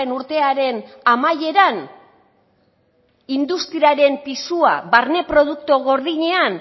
urtearen amaieran industriaren pisua barne produktu gordinean